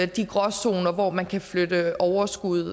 de gråzoner hvor man kan flytte overskuddet